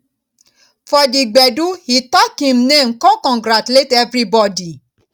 for di gbedu he talk him name con congratulate evribodi